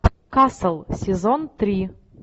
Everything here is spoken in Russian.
касл сезон три